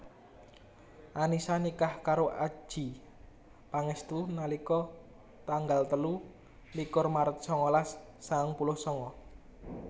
Annisa nikah karo Adjie Pangestu nalika tanggal telu likur Maret sangalas sangang puluh sanga